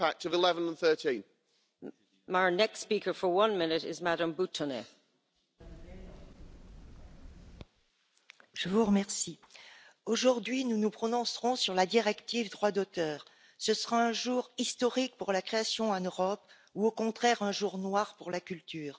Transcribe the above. Madame la Présidente, aujourd'hui, nous nous prononcerons sur la directive droits d'auteur ce sera un jour historique pour la création en Europe ou, au contraire, un jour noir pour la culture.